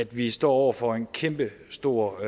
vi står over for en kæmpestor